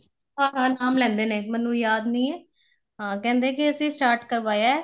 ਹਾਂ ਹਾਂ ਨਾਮ ਲੈਂਦੇ ਨੇ ਮੈਨੂੰ ਯਾਦ ਨੀਂ ਏ ਹਾਂ ਕਹਿੰਦੇ ਕੀ ਅਸੀਂ start ਕਰਵਾਇਆ